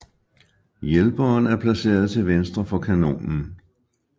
Hjælperen er placeret til venstre for kanonen